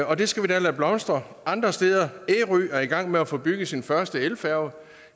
og det skal vi da lade blomstre andre steder ærø er i gang med at få bygget sin første elfærge